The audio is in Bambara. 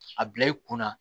A bila i kunna